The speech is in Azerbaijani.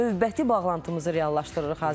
Növbəti bağlantımızı reallaşdırırıq hazırda.